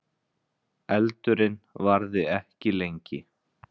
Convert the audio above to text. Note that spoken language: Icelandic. Eldurinn varði ekki lengi